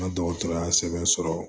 N ka dɔgɔtɔrɔya sɛbɛn sɔrɔ